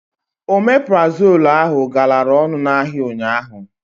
Omeprazol ahụ galara ọnụ n'ahịa ụnyaahụ.